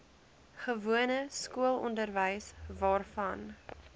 gewone skoolonderwys waarvan